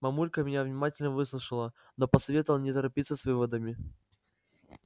мамулька меня внимательно выслушала но посоветовала не торопиться с выводами